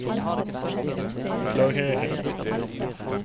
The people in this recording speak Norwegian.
klarere